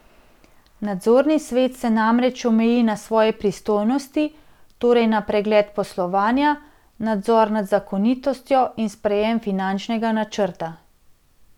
Nadzorni svet se namreč omeji na svoje pristojnosti, torej na pregled poslovanja, nadzor nad zakonitostjo in sprejem finančnega načrta.